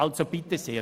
Also bitte sehr!